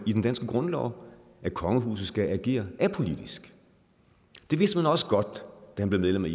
i den danske grundlov at kongehuset skal agere apolitisk det vidste man også godt da han blev medlem af